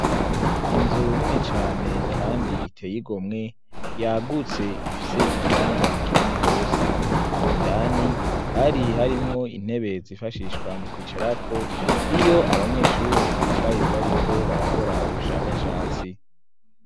Inzu nini cane kandi iteye igomwe yagutse ifise ikibanza kinini rwose indani hari harimwo intebe zifashishwa mu kwicara ko iyo abanyeshure bicaye bariko barakora ubushakashatsi.